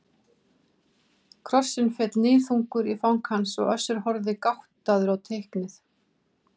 Krossinn féll níðþungur í fang hans og Össur horfði gáttaður á teiknið.